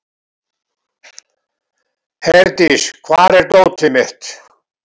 Herdís, hvar er dótið mitt?